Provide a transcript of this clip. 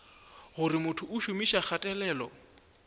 gore motho o šomiša kgatelelo